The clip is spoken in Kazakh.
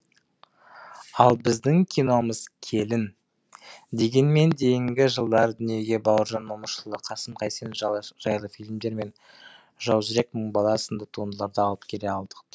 ал біздің киномыз келін дегенмен кейінгі жылдары дүниеге бауыржан момышұлы қасым қайсенов жайлы фильмдер мен жаужүрек мың бала сынды туындыларды алып келе алдық